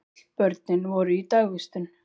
Öll börnin voru í dagvistun.